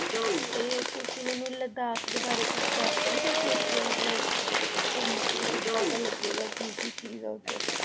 ਤੇ ਤੁਸੀਂ ਮੈਨੂੰ ਲਦਾਖ ਦੇ ਬਾਰੇ ਕੁਛ ਦੱਸ ਸਕਦੇ ਹੋ ਕਿ ਉੱਥੇ ਮਤਲਬ ਘੁੰਮ ਕੇ ਕਿੱਦਾਂ ਦਾ ਲੱਗੇਗਾ, ਕੀ ਕੀ ਚੀਜ਼ ਆ ਉੱਧਰ?